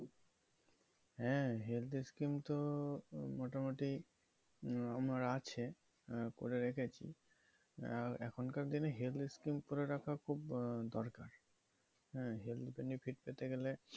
হ্যাঁ health scheme তো মোটামুটি আমার আছে পরে রেখে এসেছি এখনকার দিনে health scheme করে রাখা খুবই দরকার health ভাবে fit হতে গেলে